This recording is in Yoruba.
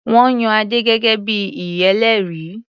Wọ́n yan Adé gẹ́gẹ́ bí i ẹlẹ́rìí.